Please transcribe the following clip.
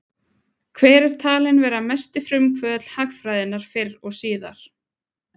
Hver er talinn vera mesti frumkvöðull hagfræðinnar fyrr og síðar?